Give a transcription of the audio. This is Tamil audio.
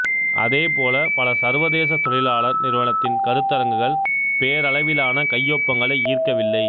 அதே போல பலசர்வதேச தொழிலாளர் நிறுவனத்தின் கருத்தரங்குகள் பேரளவிலான கையொப்பங்களை ஈர்க்கவில்லை